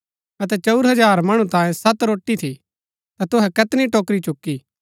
अतै चंऊर हजार मणु तांयें सत रोटी थी ता तुहै कैतनी टोकरी चुकी